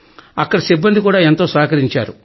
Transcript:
అక్కడి సిబ్బంది కూడా ఎంతో సహకరించారు